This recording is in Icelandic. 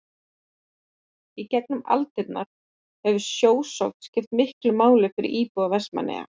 Í gegnum aldirnar hefur sjósókn skipt miklu máli fyrir íbúa Vestmannaeyja.